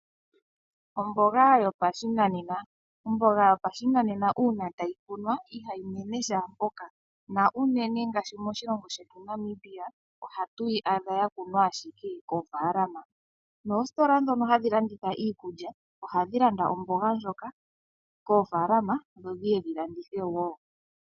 Omboga yopashinanena/yuushimba, omboga yuushimba uuna tayi kunwa ihayi mene shaampoka na uunene ngaashi moshilongo shetu shaNamibia ohatu yi adha ya kunwa ashike koofalama noositola ndhono hadhi landithwa ashike iikulya ohadhi landa omboga ndjoka koofalama dho dhiye dhi landithe wo.